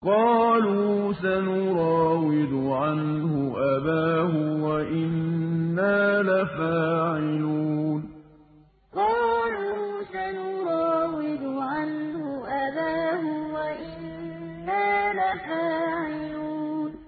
قَالُوا سَنُرَاوِدُ عَنْهُ أَبَاهُ وَإِنَّا لَفَاعِلُونَ قَالُوا سَنُرَاوِدُ عَنْهُ أَبَاهُ وَإِنَّا لَفَاعِلُونَ